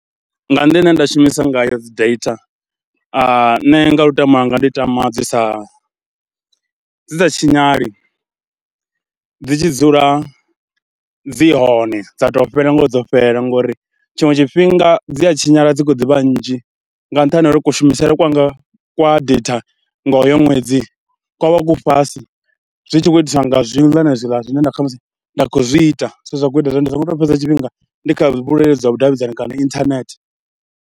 Nga nḓila ine nda shumisa ngayo dzi data nṋe nga lutamo lwanga ndi tama dzi sa, dzi dza tshinyale, dzi tshi dzula dzi hone dza to fhela ngorio dzo fhela ngauri tshiṅwe tshifhinga dzi a tshinyala dzi khou ḓivha nnzhi nga nṱhani ha uri kushumisele kwanga kwa data nga uyo ṅwedzi kwa vha ku fhasi, zwi tshi khou itiswa nga zwiḽa na zwiḽa zwine nda kha musi, nda khou zwi ita zwine zwa khou ita. Zwine zwa khou ita zwa uri ndi songo tou fhedza tshifhinga ndi kha vhuleludzi zwa vhudavhidzani kana inthanethe.